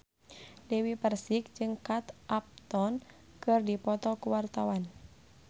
Dewi Persik jeung Kate Upton keur dipoto ku wartawan